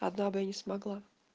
одна бы не смогла